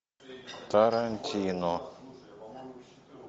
тарантино